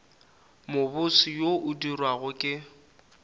mobose wo o dirwago ke